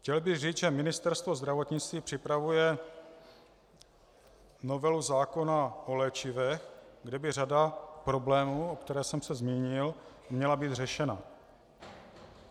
Chtěl bych říct, že Ministerstvo zdravotnictví připravuje novelu zákona o léčivech, kdy by řada problémů, o kterých jsem se zmínil, měla být řešena.